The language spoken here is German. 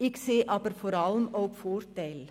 Ich sehe aber vor allem auch Vorteile.